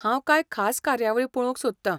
हांव कांय खास कार्यावळी पळोवंक सोदतां.